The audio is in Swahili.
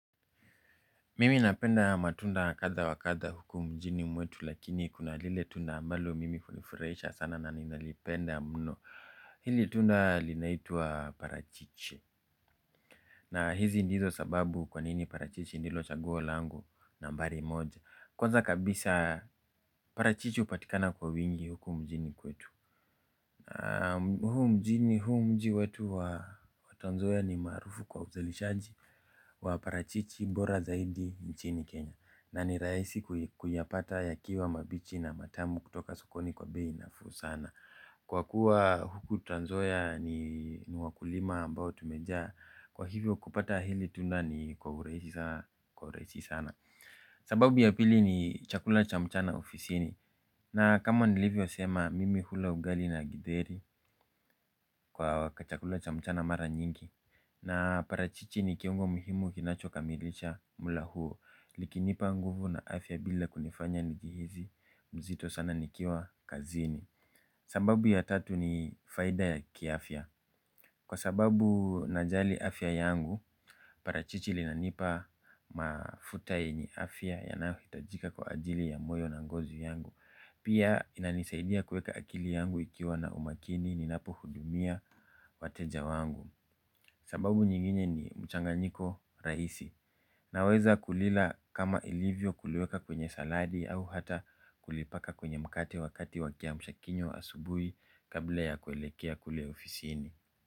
Mimi napenda matunda kadha wa kadha huku mjini mwetu lakini kuna lile tunda ambalo mimi hunifuraisha sana na ninalipenda mno hili tunda linaitwa parachichi. Na hizi ndizo sababu kwanini parachichi ndilo chaguo langu nambari moja kwanza kabisa parachichi hupatikana kwa wingi huku mjini kwetu. Na huu mjini huu mji wetu wa transnzoia ni maarufu kwa uzalishaji wa parachichi mbora zaidi nchini Kenya. Na ni raisi kuyapata yakiwa mabichi na matamu kutoka sokoni kwa bei nafuu sana. Kwa kuwa huku transnzoia ni wakulima ambao tumejaa. Kwa hivyo kupata hili tunda ni kwa uraishi sana. Sababu ya pili ni chakula cha mchana ofisini. Na kama nilivyo sema mimi hula ugali na gidheri kwa ka chakula cha mchana mara nyingi. Na parachichi ni kiungo muhimu kinachoka milisha mula huo. Liki nipa nguvu na afya bila kunifanya nijihizi mzito sana nikiwa kazini. Sababu ya tatu ni faida ya kiafya. Kwa sababu najali afya yangu parachichi linanipa mafuta yenye afya yanayo hitajika kwa ajili ya moyo na ngozi yangu. Pia inanisaidia kueka akili yangu ikiwa na umakini ninapo hudumia wateja wangu. Sababu nyingine ni mchanganyiko raisi. Naweza kulila kama ilivyo kuliweka kwenye saladi au hata kulipaka kwenye mkate wakati wa kiamshakinywa asubui kabla ya kuelekea kule ofisini.